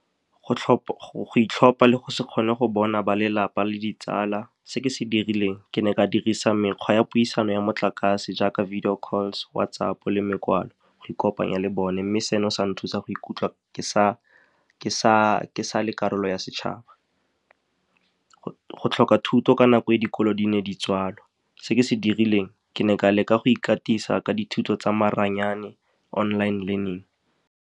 Go itlhopha le go se kgone go bona ba lelapa le ditsala, se ke se dirileng ke ne ka dirisa mekgwa ya puisano ya motlakase jaaka video calls, WhatsApp, le go ikopanya le bone. Mme seno se nthusa go ikutlwa ke sa le karolo ya setšhaba. Go tlhoka thuto ka nako e dikolo di ne di tswalwa, se ke se dirileng ke ne ka leka go ikatisa ka dithuto tsa maranyane, online learning.